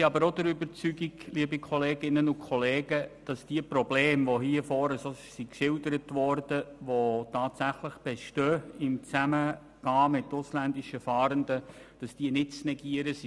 Liebe Kolleginnen und Kollegen, wir sind auch der Überzeugung, dass die vorne am Rednerpult geschilderten Probleme, welche tatsächlich im Zusammenleben mit ausländischen Fahrenden bestehenden, nicht zu negieren sind.